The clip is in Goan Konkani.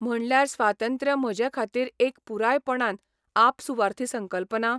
म्हणल्यार स्वातंत्र्य म्हजे खातीर एक पुरायपणान आपसुवार्थी संकल्पना?